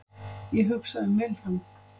Ég hugsa um Vilhjálm.